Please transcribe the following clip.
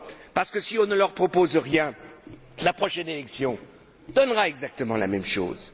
parce que si on ne leur propose rien, la prochaine élection donnera exactement la même chose.